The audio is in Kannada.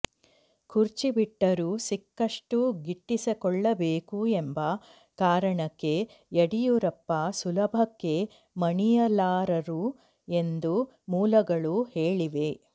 ಕುರ್ಚಿ ಬಿಟ್ಟರೂ ಸಿಕ್ಕಷ್ಟು ಗಿಟ್ಟಿಸಿಕೊಳ್ಳಬೇಕು ಎಂಬ ಕಾರಣಕ್ಕೆ ಯಡಿಯೂರಪ್ಪ ಸುಲಭಕ್ಕೆ ಮಣಿಯಲಾರರು ಎಂದು ಮೂಲಗಳು ಹೇಳಿವೆ